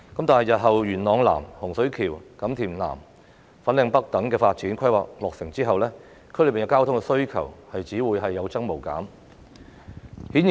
當日後元朗南、洪水橋、錦田南及粉嶺北等發展項目落成後，區內的交通需求只會有增無減。